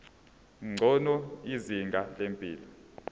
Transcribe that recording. ngcono izinga lempilo